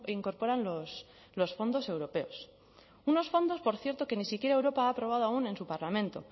incorporan los fondos europeos unos fondos por cierto que ni siquiera europa ha aprobado aún en su parlamento